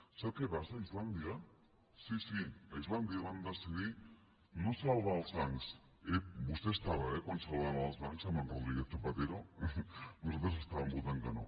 sap què passa a islàndia sí sí a islàndia van decidir no salvar els bancs ep vostè hi era quan salvaven els bancs amb en rodríguez zapatero nosaltres estàvem votant que no